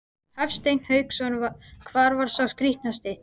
Hafsteinn Hauksson: Hvar var sá skrítnasti?